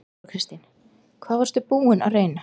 Þóra Kristín: Hvað varstu búinn að reyna?